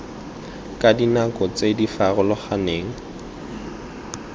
ka dinako tse di farologaneng